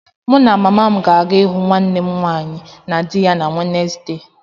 Mụ na mama m ga-aga ịhụ nwanne m nwaanyị na di ya na Wednesde.